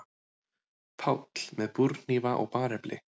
PÁLL: Með búrhnífa og barefli.